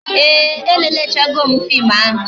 Ee, e lelechego m fim ahụ